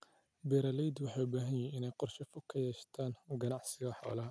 Beeralaydu waxay u baahan yihiin inay qorshe fog ka yeeshaan ganacsiga xoolaha.